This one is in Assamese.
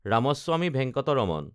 ৰামাস্বামী ভেংকটৰমণ